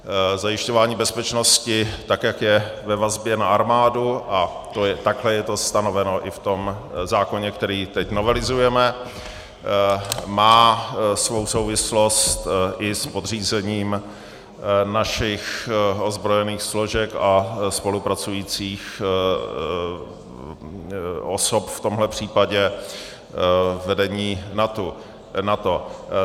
Zajišťování bezpečnosti, tak jak je ve vazbě na armádu, a takhle je to stanoveno i v tom zákoně, který teď novelizujeme, má svou souvislost i s podřízením našich ozbrojených složek a spolupracujících osob, v tomhle případě vedení NATO.